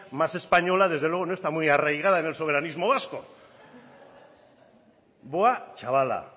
más española desde luego no está muy arraigada en el soberanismo vasco buá chavala